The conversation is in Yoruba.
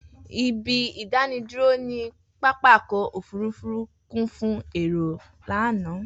Ibi idaniduro ni papakọ ofurufu kun fun èèro lana.